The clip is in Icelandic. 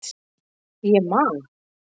Ég man